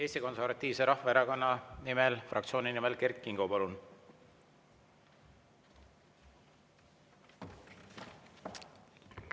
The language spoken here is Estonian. Eesti Konservatiivse Rahvaerakonna fraktsiooni nimel Kert Kingo, palun!